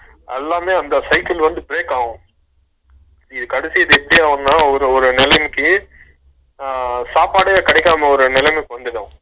எல்லாமே வந்து cycle வந்து break ஆகும் silent இது கடைசியா எப்பிடி ஆகும்னா ஒரு ஒரு நேலைக்கி அஹ சாப்பாடே கேடைக்காம ஒரு நெலம வந்துரும்